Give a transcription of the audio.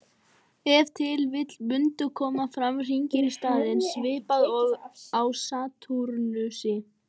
Ef til vill mundu koma fram hringir í staðinn, svipað og á Satúrnusi.